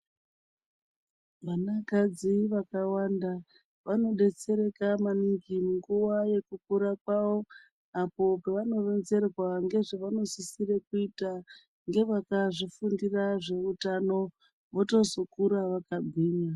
Vanakadzi vakawanda vanodetsereka maningi nguva yekukura kwavo apo pavanoronzerwa ngezvevavanosisire kuite ngevakazvifundira zveutano votozokura vakagwinya.